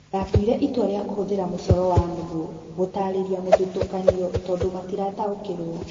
Ndatuire itua rĩa kũhuthĩra mũcoro wa nũgũ gũtaarĩria mũthutũkanio tondũ matirataukĩrwo